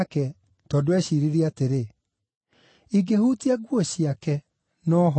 tondũ eeciiririe atĩrĩ, “Ingĩhutia nguo ciake, no hone.”